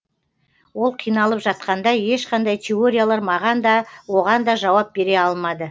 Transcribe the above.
ол қиналып жатқанда ешқандай теориялар маған да оғанда жауап бере алмады